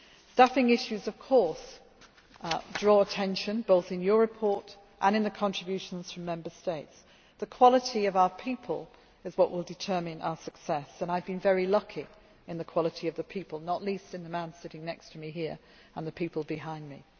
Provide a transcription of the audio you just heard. year. Staffing issues of course draw attention, both in your report and in the contributions from Member States. The quality of our people is what will determine our success, and I have been very lucky in the quality of the people, not least in the man sitting next to me here and in the people behind